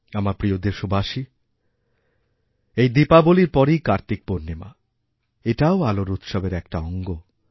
আমারপ্রিয় দেশবাসী এই দীপাবলীর পরেই কার্তিক পূর্ণিমা এটাও আলোর উৎসবের একটা অঙ্গ